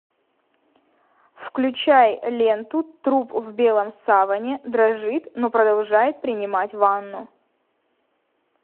включай ленту труп в белом саване дрожит но продолжает принимать ванну